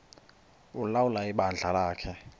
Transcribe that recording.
ulawula ibandla lakhe